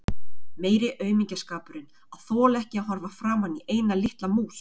Meiri aumingjaskapurinn að þola ekki að horfa framan í eina litla mús!